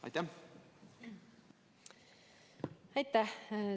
Aitäh!